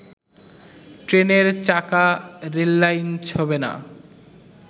ট্রেনের চাকা রেললাইন ছোঁবে না